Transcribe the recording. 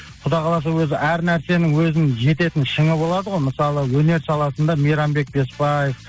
құдай қаласа өзі әр нәрсенің өзінің жететін шыңы болады ғой мысалы өнер саласында мейрамбек беспаев